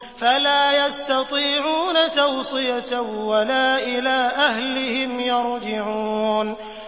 فَلَا يَسْتَطِيعُونَ تَوْصِيَةً وَلَا إِلَىٰ أَهْلِهِمْ يَرْجِعُونَ